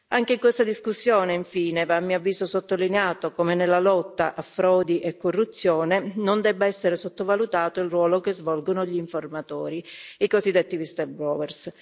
Anche in questa discussione, infine, a mio avviso, va sottolineato come nella lotta a frodi e corruzione non debba essere sottovalutato il ruolo che svolgono gli informatori i cosiddetti whistleblowers